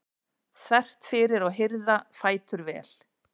þvert fyrir og hirða fætur vel.